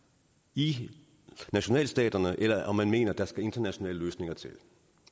i nationalstaterne eller om man mener at der skal internationale løsninger til